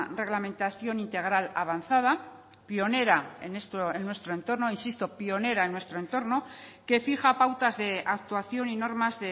reglamentación integral avanzada pionera en nuestro entorno insisto pionera en nuestro entorno que fija pautas de actuación y normas